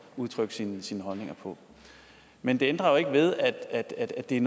udtrykke sine sine holdninger på men det ændrer jo ikke ved at at det